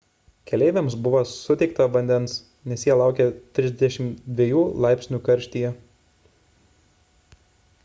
keleiviams buvo suteikta vandens nes jie laukė 32 laipsnių karštyje